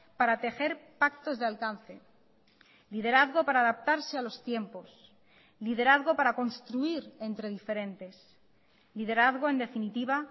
para tejer pactos de alcance liderazgo para adaptarse a los tiempos liderazgo para construir entre diferentes liderazgo en definitiva